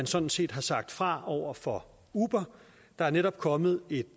sådan set har sagt fra over for uber der er netop kommet et